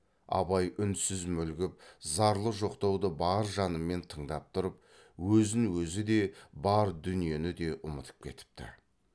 абай үнсіз мүлгіп зарлы жоқтауды бар жанымен тыңдап тұрып өзін өзі де бар дүниені де ұмытып кетіпті